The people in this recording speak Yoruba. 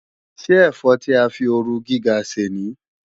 Ṣé ẹ̀fọ́ tí a fi ooru gíga ṣè ní?